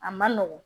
A man nɔgɔn